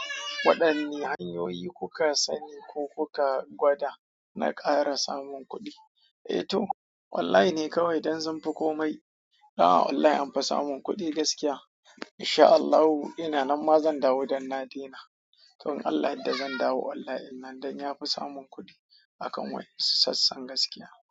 Waɗanne hanyoyi kuka sani ko kuka gwada na ƙara samun kuɗi? Eh to wallahi ne kawai idan sunfi komai. Ai a wallahi anfi samun kuɗi gaskiya. Insha Allahu ina nan ma zan dawo don na daina. To in Allah ya yarda zan dawo online din nan ne. Don ya fi samun kuɗi akan wasu sassan gaskiya.